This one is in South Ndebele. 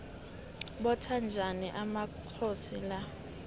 botha njani amakhoxi na